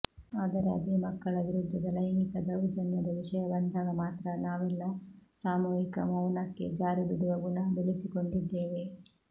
ಆದರೆ ಅದೇ ಮಕ್ಕಳ ವಿರುದ್ಧದ ಲೈಂಗಿಕ ದೌರ್ಜನ್ಯದ ವಿಷಯ ಬಂದಾಗ ಮಾತ್ರ ನಾವೆಲ್ಲ ಸಾಮೂಹಿಕ ಮೌನಕ್ಕೆ ಜಾರಿಬಿಡುವ ಗುಣ ಬೆಳೆಸಿಕೊಂಡಿದ್ದೇವೆ